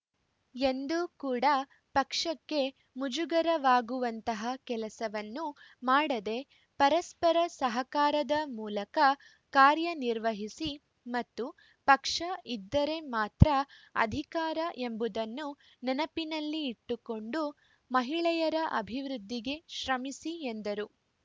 ಎಂದೂ ಕೂಡ ಪಕ್ಷಕ್ಕೆ ಮುಜುಗರವಾಗುವಂತಹ ಕೆಲಸವನ್ನು ಮಾಡದೆ ಪರಸ್ಪರ ಸಹಕಾರದ ಮೂಲಕ ಕಾರ್ಯ ನಿರ್ವಹಿಸಿ ಮತ್ತು ಪಕ್ಷ ಇದ್ದರೆ ಮಾತ್ರ ಅಧಿಕಾರ ಎಂಬುದನ್ನು ನೆನಪಿನಲ್ಲಿ ಇಟ್ಟುಕೊಂಡು ಮಹಿಳೆಯರ ಅಭಿವೃದ್ಧಿಗೆ ಶ್ರಮಿಸಿ ಎಂದರು